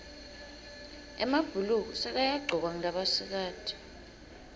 emabhuluko sekayagcokwa ngulabasikati